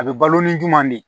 A bɛ balo ni juman di